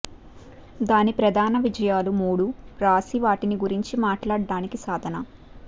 దాని ప్రధాన విజయాలు మూడు వ్రాసి వాటిని గురించి మాట్లాడటానికి సాధన